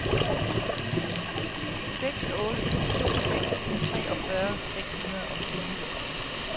seks otte to seks treogfyrre seks hundrede og tyve